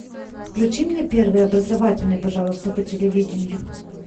включи мне первый образовательный пожалуйста по телевидению